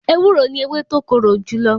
Ewúro ni ewé tó korò jùlọ.